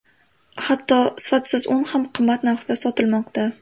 Hatto sifatsiz un ham qimmat narxda sotilmoqda.